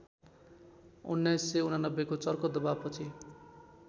१९८९ को चर्को दवाबपछि